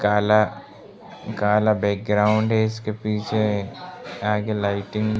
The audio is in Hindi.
काला काला बैकग्राउंड है इसके पीछे आगे लाइटिंग --